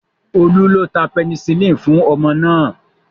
Olú ló ta penicillin fún ọmọ náà